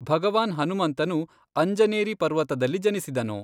ಭಗವಾನ್ ಹನುಮಂತನು ಅಂಜನೇರಿ ಪರ್ವತದಲ್ಲಿ ಜನಿಸಿದನು.